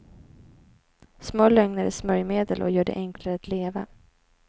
Små lögner är smörjmedel och gör det enklare att leva.